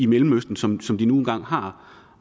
mellemøsten som som de nu engang har